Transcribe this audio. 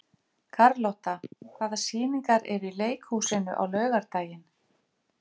Karlotta, hvaða sýningar eru í leikhúsinu á laugardaginn?